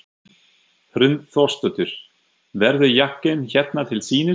Hrund Þórsdóttir: Verður jakkinn hérna til sýnis?